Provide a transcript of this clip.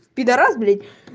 пидорас блять